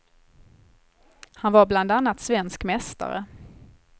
Han var bland annat svensk mästare.